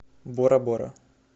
бора бора